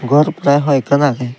ghor te hoi ekkan age.